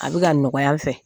A bɛ ka nɔgɔya n fɛ